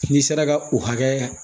N'i sera ka o hakɛ